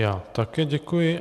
Já také děkuji.